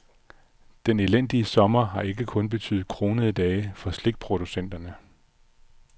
Den elendige sommer har ikke kun betydet kronede dage for slikproducenterne.